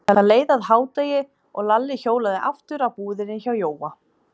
Það leið að hádegi og Lalli hjólaði aftur að búðinni hjá Jóa.